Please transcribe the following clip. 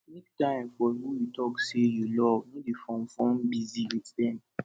make time for who you talk sey you love no dey form form busy with dem